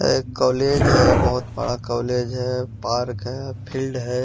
एक कॉलेज है बहोत बड़ा कॉलेज है पार्क है फील्ड है।